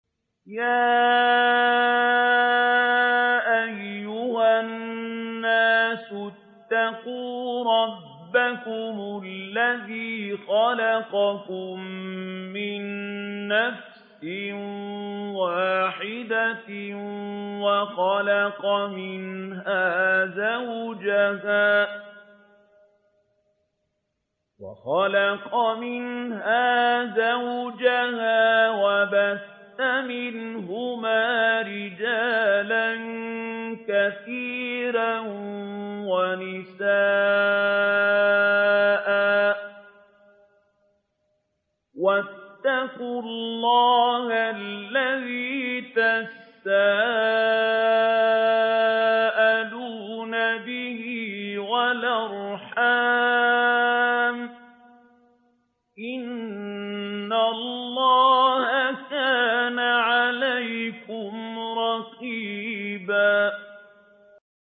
يَا أَيُّهَا النَّاسُ اتَّقُوا رَبَّكُمُ الَّذِي خَلَقَكُم مِّن نَّفْسٍ وَاحِدَةٍ وَخَلَقَ مِنْهَا زَوْجَهَا وَبَثَّ مِنْهُمَا رِجَالًا كَثِيرًا وَنِسَاءً ۚ وَاتَّقُوا اللَّهَ الَّذِي تَسَاءَلُونَ بِهِ وَالْأَرْحَامَ ۚ إِنَّ اللَّهَ كَانَ عَلَيْكُمْ رَقِيبًا